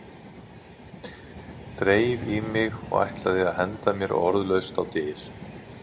Þreif í mig og ætlaði að henda mér orðalaust á dyr.